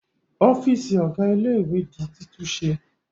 Ọ́fíísì ọ̀gá ilé-ìwé di títúnṣe